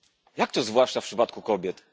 Jak to zwłaszcza w przypadku kobiet?